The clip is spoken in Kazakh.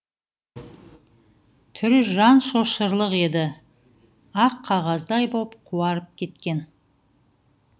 түрі жан шошырлық еді ақ қағаздай боп қуарып кеткен